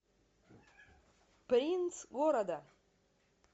принц города